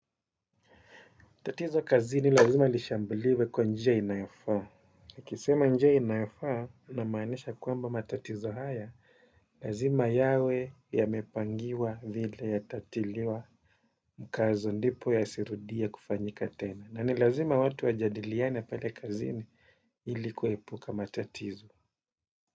Tatizo kazini lazima lishambuliwe kwa njia inayofaa. Nikisema njia inayofaa namaanisha kwamba matatizo haya, lazima yawe yamepangiwa vile yatatiliwa mkazo ndipo yasirudie kufanyika tena. Na ni lazima watu wajadiliane pale kazini ili kuepuka matatizo.